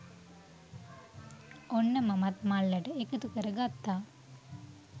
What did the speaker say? ඔන්න මමත් මල්ලට එකතු කරගත්තා